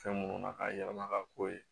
Fɛn minnu na k'a yɛlɛma ka k'o ye